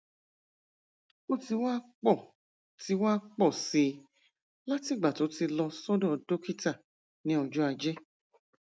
ó ti wá pọ ti wá pọ sí i látìgbà tó ti lọ sọdọ dókítà ní ọjọ ajé